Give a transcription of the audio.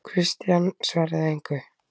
Christian svaraði engu.